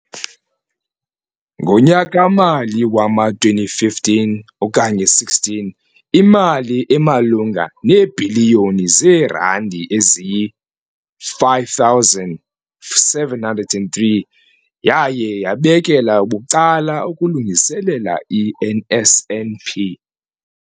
Ngonyaka-mali wama-2015 okanye 16, imali emalunga neebhiliyoni zeerandi eziyi-5 703 yaye yabekelwa bucala ukulungiselela i-NSNP.